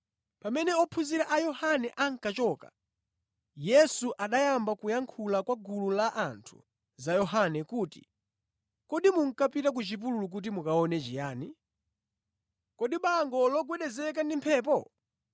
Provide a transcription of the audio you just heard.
Pamene ophunzira a Yohane ankachoka, Yesu anayamba kuyankhula kwa gulu la anthu za Yohane kuti, “Kodi munkapita ku chipululu kuti mukaone chiyani? Kodi bango logwedezeka ndi mphepo?